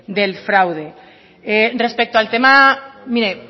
del fraude respecto al tema mire